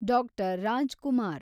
doctor Raj Kumar